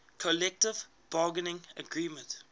collective bargaining agreement